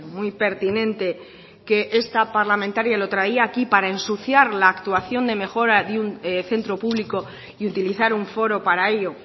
muy pertinente que esta parlamentaria lo traía aquí para ensuciar la actuación de mejora de un centro público y utilizar un foro para ello